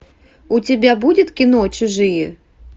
у тебя будет кино чужие